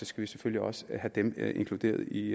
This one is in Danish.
skal vi selvfølgelig også have dem inkluderet i